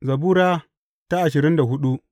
Zabura Sura ashirin da hudu